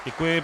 Děkuji.